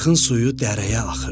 Arxın suyu dərəyə axırdı.